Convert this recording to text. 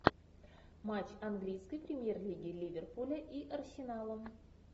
матч английской премьер лиги ливерпуля и арсенала